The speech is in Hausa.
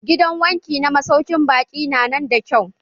Gidan wanki na masaukin baƙi nan na da kyau.